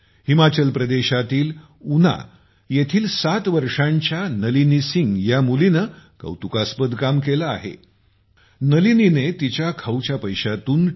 हिमाचल प्रदेशातील उना येथील 7 वर्षांच्या नलिनी सिंग हिने कौतुकास्पद काम केले आहे नलिनीने तिच्या खाऊच्या पैशातून टी